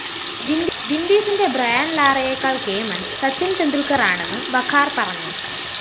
വിന്‍ഡീസിന്റെ Brian‍ ലാറയെക്കാള്‍ കേമന്‍ സച്ചിന്‍ ടെന്‍ഡുല്‍ക്കറാണെന്ന് വഖാര്‍ പറഞ്ഞു